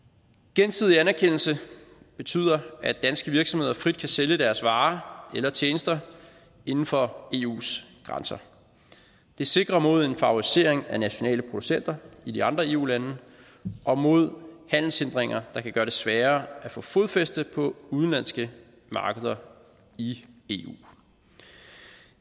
gensidig anerkendelse betyder at danske virksomheder frit kan sælge deres varer eller tjenester inden for eus grænser det sikrer mod en favorisering af nationale producenter i de andre eu lande og mod handelshindringer der kan gøre det sværere at få fodfæste på udenlandske markeder i eu